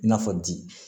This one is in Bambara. I n'a fɔ di